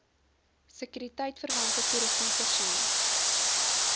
sekuriteitverwante toerusting voorsien